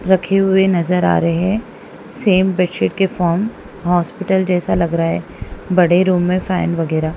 रखे हुए नजर आ रहे हैं सेम बेडशीट के फॉर्म हॉस्पिटल जैसा लग रहा है बड़े रूम में फैन वगैरा।